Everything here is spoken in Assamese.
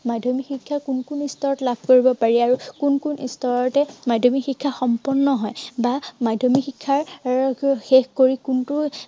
মাধ্য়মিক শিক্ষা কোন কোন স্তৰত লাভ কৰিব পাৰি, আৰু কোন কোন স্তৰতে মাধ্য়মিক শিক্ষা সম্পূৰ্ণ হয়। বা মাধ্য়মিক শিক্ষাৰ এৰ শেষ কৰি কোনটো